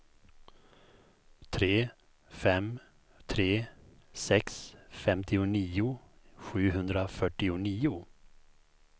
tre fem tre sex femtionio sjuhundrafyrtionio